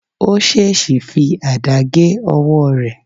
Ó ṣèṣì fi àdá gé ọwọ́ rẹ̀